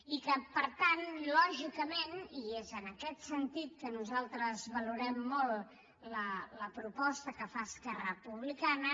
i per tant lògicament i és en aquest sentit que nosaltres valorem molt la proposta que fa esquerra republicana